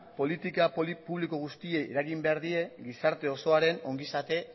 politika publiko guztiei eragin behar die gizarte osoaren ongizate